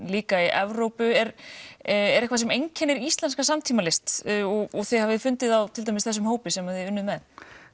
líka í Evrópu er er eitthvað sem einkennir íslenska samtímalist og þið hafið fundið á þessum hópi sem þið unnuð með